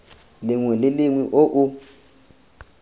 lengwe le lengwe o o